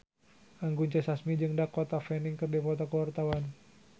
Anggun C. Sasmi jeung Dakota Fanning keur dipoto ku wartawan